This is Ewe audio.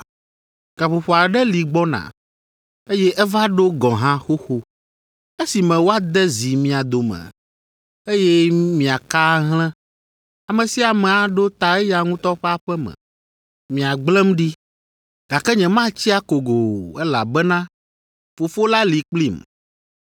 Gaƒoƒo aɖe li gbɔna, eye eva ɖo gɔ̃ hã xoxo, esime woade zi mia dome, eye miaka ahlẽ, ame sia ame aɖo ta eya ŋutɔ ƒe aƒe me. Miagblẽm ɖi. Gake nyematsi akogo o, elabena Fofo la li kplim.